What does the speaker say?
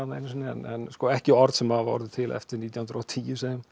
einu sinni en sko ekki orð sem hafa orðið til eftir nítján hundruð og tíu